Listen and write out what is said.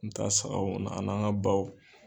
Me taa sagaw an'an ka baw